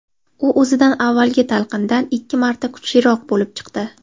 U o‘zidan avvalgi talqindan ikki marta kuchliroq bo‘lib chiqdi.